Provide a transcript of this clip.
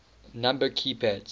number key pads